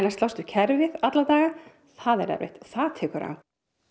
að slást við kerfið alla daga það er erfitt það tekur á